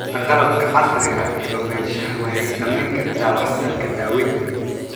La'aanta qalabka casriga ah ee ogaanshaha waxay saameyn kartaa waxtarka daaweynta.